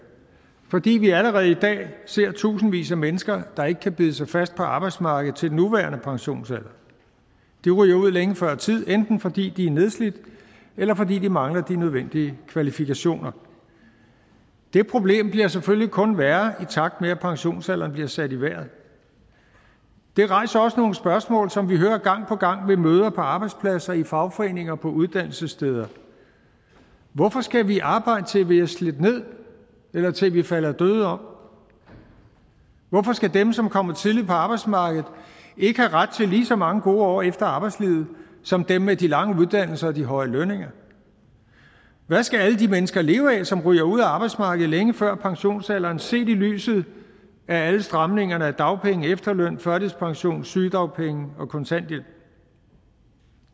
fordi vi allerede i dag ser tusindvis af mennesker der ikke kan bide sig fast på arbejdsmarkedet til den nuværende pensionsalder de ryger ud længe før tid enten fordi de er nedslidt eller fordi de mangler de nødvendige kvalifikationer det problem bliver selvfølgelig kun værre i takt med at pensionsalderen bliver sat i vejret det rejser også nogle spørgsmål som vi hører gang på gang ved møder på arbejdspladser i fagforeninger og på uddannelsessteder hvorfor skal vi arbejde til vi er slidt ned eller til vi falder døde om hvorfor skal dem som kommer tidligt på arbejdsmarkedet ikke have ret til lige så mange gode år efter arbejdslivet som dem med de lange uddannelser og de høje lønninger hvad skal alle de mennesker leve af som ryger ud af arbejdsmarkedet længe før pensionsalderen set i lyset af alle stramningerne i dagpenge efterløn førtidspension sygedagpenge og kontanthjælp